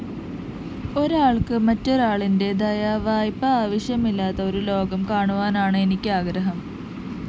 ഒരാള്‍ക്ക് മറ്റൊരാളിന്റെ ദയാവായ്പ് ആവശ്യമില്ലാത്ത ഒരു ലോകം കാണുവാനാണ് എനിക്കാഗ്രഹം